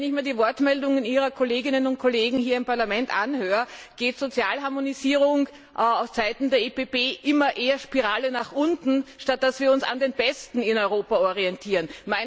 Wenn ich mir die Wortmeldungen Ihrer Kolleginnen und Kollegen hier im Parlament anhöre, heißt Sozialharmonisierung für die EVP immer eher eine Spirale nach unten, statt dass wir uns an den Besten in Europa orientieren.